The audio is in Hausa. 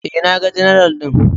E, naga general ɗin.